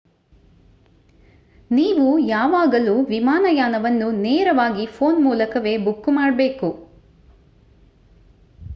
ನೀವು ಯಾವಾಗಲೂ ವಿಮಾನಯಾನವನ್ನು ನೇರವಾಗಿ ಫೋನ್ ಮೂಲಕವೇ ಬುಕ್ ಮಾಡಬೇಕು